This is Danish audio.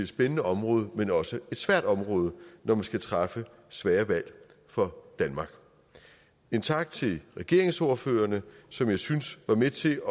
spændende område men også et svært område når man skal træffe svære valg for danmark en tak til regeringsordførerne som jeg synes var med til